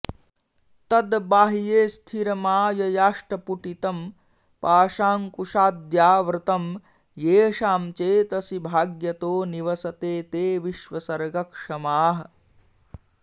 तद्बाह्ये स्थिरमाययाष्टपुटितं पाशाङ्कुशाद्यावृतं येषां चेतसि भाग्यतो निवसते ते विश्वसर्गक्षमाः